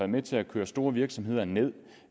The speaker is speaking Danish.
med til at køre store virksomheder ned